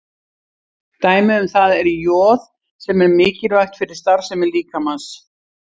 Dæmi um það er joð sem er mikilvægt fyrir starfsemi líkamans.